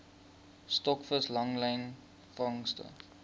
stokvis langlyn vangste